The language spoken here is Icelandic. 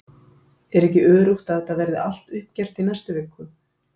Er ekki öruggt að þetta verði allt uppgert í næstu viku??